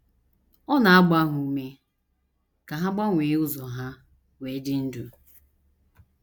Ọ na - agba ha ume ka ha gbanwee ụzọ ha “ wee dị ndụ. ”